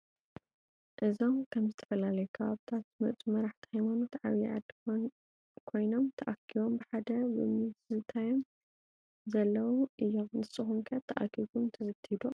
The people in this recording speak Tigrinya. እዞም ከብ ዝተፈላለዮ ከባብታት ዝመፁ መራሕቲ ሃይማኖት ዓበይቲ ዓዲ ኮይኖምተአኪቦም ብሐደ ብምካንዝዝትዮ ዘለው እዮም ። ንሰኩም ከ ተአኪብኩም ትዝትዮ ዶ?